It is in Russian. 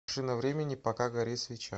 машина времени пока горит свеча